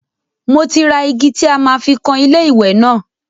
Mo ti ra igi tí a máa fi kan ilé ìwẹ́ náà.